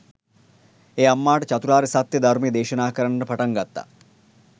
ඒ අම්මාට චතුරාර්ය සත්‍යය ධර්මය දේශනා කරන්නට පටන් ගත්තා.